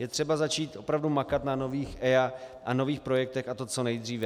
Je třeba začít opravdu makat na nových EIA a nových projektech, a to co nejdříve.